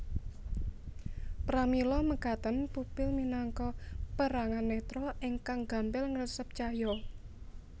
Pramila mekaten pupil minangka perangan netra ingkang gampil ngresep cahya